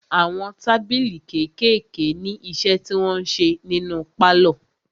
Àwọn tábìlì kékèèké ní iṣẹ́ tí wọn ń ṣe nínu pálọ̀.